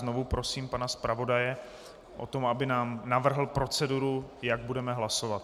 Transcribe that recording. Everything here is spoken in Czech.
Znovu prosím pana zpravodaje o to, aby nám navrhl proceduru, jak budeme hlasovat.